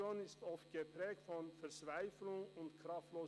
Ihre Situation ist oft geprägt von Verzweiflung und Kraftlosigkeit.